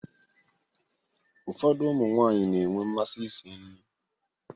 Ụfọdụ ụmụ nwaanyị na-enwe mmasị isi nri.